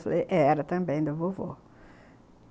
Falei, era também, da vovô.